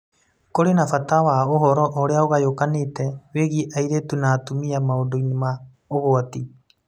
Kũrĩ na bata wa ũhoro ũrĩa ũgayũkanĩte wĩgiĩ airĩtu na atumia maũndũ-inĩ ma ũgwati.